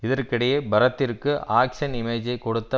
இதற்கிடையே பரத்திற்கு ஆக்ஷ்ன் இமேஜை கொடுத்த